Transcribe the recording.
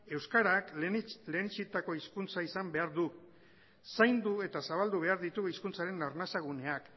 euskarak lehenetsitako hizkuntza izan behar du zaindu eta zabaldu behar ditugu hizkuntzaren arnasa gunean